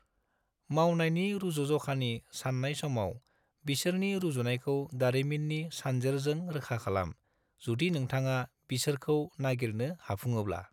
मावनायनि रूजुज’खानि साननाय समाव बिसोरनि रुजुनायखौ दारिमिननि सानजेरजों रोखा खालाम, जुदि नोंथाङा बिसोरखौ नागिरनो हाफुङोब्ला।